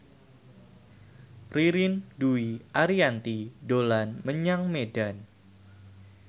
Ririn Dwi Ariyanti dolan menyang Medan